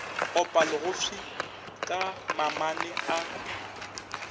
opa legofsi ka mamane a